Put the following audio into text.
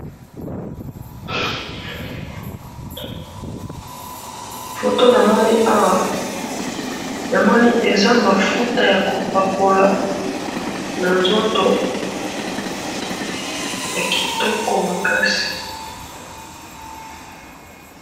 photo namoni awa namoni eza mafuta yakopakola nanzoto yakitoko makasi